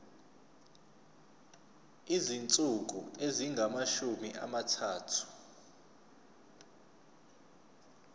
izinsuku ezingamashumi amathathu